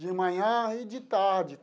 De manhã e de tarde.